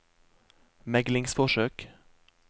meglingsforsøk